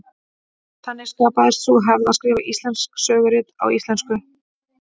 Þannig skapaðist sú hefð að skrifa íslensk sögurit á íslensku.